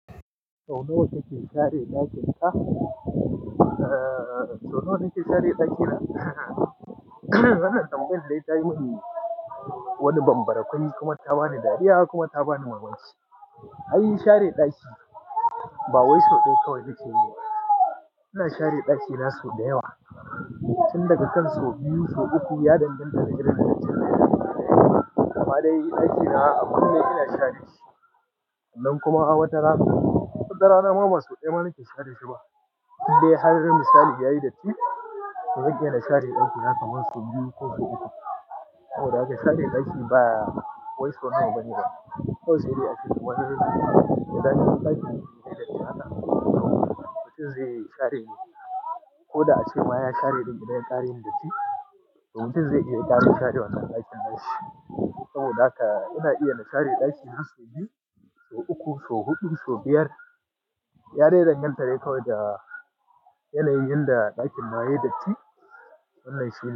Sau nawa kake share ɗakin ka? Eh, sau nawa nake share ɗaki na? Ranar tambayin da zai tafi mini wani bambarai, kuma ta bani dariya kuma ta bani mamaki. Ai share ɗaki ba wai soɗe kawai ne ke yi wa. Ina share ɗaki na sau da yawa, tun daga can sau biyu, sau uku ya danganta da girman ɗakin. Kamada ɗaki na a kunne ina share shi, nan kuma a wata rana, ko da rana maman soɗe ma baki share shi ba. Sai dai, har misali yayi datti, sau dayawa na share ɗakin haka wai sau biyu ko sau uku. Saboda haka share ɗaki ba wai sau nawa bane da, kawai zai yi a cikin wani lokaci. Idan ɗakin yake da tsada, mutum zai yi share ne, ko da a ce ma ya share ɗin idan ya ƙare datti, mutum zai iya ƙara share wancan ɗakin nashi. Saboda haka ina iya na share ɗaki sau biyu, sau uku, sau huɗu, sau biyar. Ya danganta da kawai da yanayin da ɗakin yayi datti wannan shi ne.